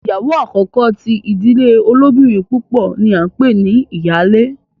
ìyàwó àkókò tí ìdílé olobinrin púpọ ní a npè ní iyale.